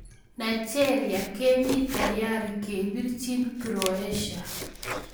Nigeria kemi tayari kepariejin Croatia